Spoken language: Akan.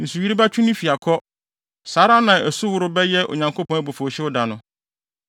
Nsuyiri bɛtwe ne fi akɔ, saa ara na asuworo bɛyɛ Onyankopɔn abufuwhyew da no.